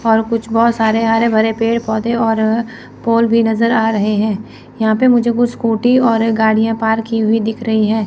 और कुछ बहुत सारे हरे भरे पेड़ पौधे और पोल भी नज़र आ रहे हैं यह पे मुझे कुछ स्कूटी और गाड़िया पार्क की हुई दिख रही है।